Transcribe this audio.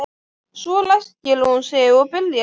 Svo ræskir hún sig og byrjar að lesa.